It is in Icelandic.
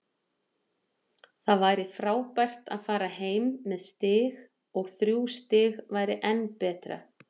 Það væri frábært að fara heim með stig og þrjú stig væri enn betra.